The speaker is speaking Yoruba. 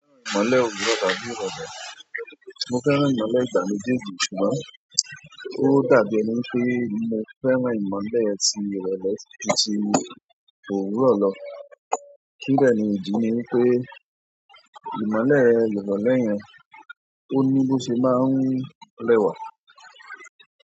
Ìmọ̀le òwúrọ̀ tàbí ìrọ̀lẹ́. Mo fẹ́ràn ìmọ̀le ìgbà méjèèjì, ṣùgbọ́n ó dàbí ẹni pé mo fẹ́ràn ìmọ̀le ti ìrọ̀lẹ́ ju tì òwúrọ̀ lọ. Kí de ni ìdí ni wipé ìmọ̀le ìrọ̀lẹ́ yẹn, ó ní bó ṣe máa ń rẹ́wà?